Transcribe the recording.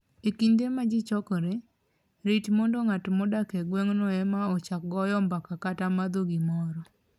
E kinde ma ji chokore, rit mondo ng'at modak e gweng'no ema ochak goyo mbaka kata madho gimoro.